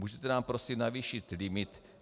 Můžete nám prosím navýšit limit?